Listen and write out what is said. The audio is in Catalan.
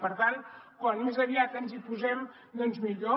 per tant com més aviat ens hi posem doncs millor